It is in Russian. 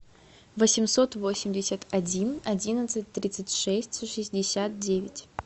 восемьсот восемьдесят один одиннадцать тридцать шесть шестьдесят девять